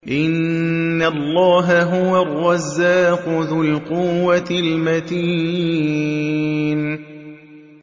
إِنَّ اللَّهَ هُوَ الرَّزَّاقُ ذُو الْقُوَّةِ الْمَتِينُ